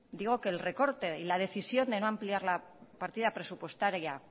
digo que el recorte y la decisión de no ampliar la partida presupuestaria